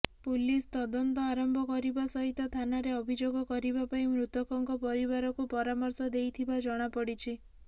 police ତଦନ୍ତ ଆରମ୍ଭ କରିବା ସହିତ ଥାନାରେ ଅଭିଯୋଗ କରିବା ପାଇଁ ମୃତକଙ୍କ ପରିବାରକୁ ପରାମର୍ଶ ଦେଇଥିବା ଜଣାପଡ଼ିଛି